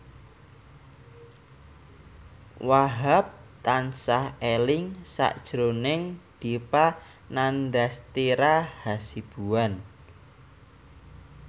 Wahhab tansah eling sakjroning Dipa Nandastyra Hasibuan